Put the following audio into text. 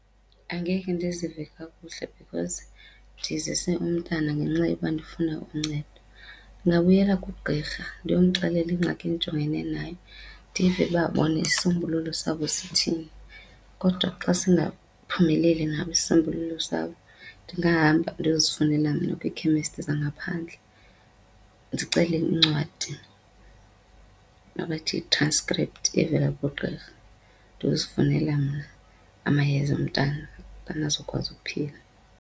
Angeke ndizive kakuhle because ndizise umntana ngenxa yoba ndifuna uncedo. Ndingabuyela kugqirha ndiyomxelela ingxaki endijongene nayo ndive uba bona isisombululo sabo sithini. Kodwa xa singaphumeleli nabo isisombululo sabo ndingahamba ndiyozifunelela mna kwiikhemesti zangaphandle. Ndicele incwadi abathi yi-transcript evela kugqirha ndiyozifunela mna amayeza umntana azokwazi ukuphila.